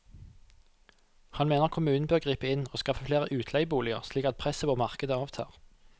Han mener kommunen bør gripe inn og skaffe flere utleieboliger, slik at presset på markedet avtar.